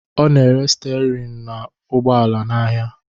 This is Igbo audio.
Ọ na-ere stịarịn ụgbọala n'ahịa